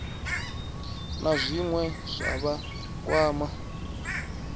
na zwine zwa vha kwama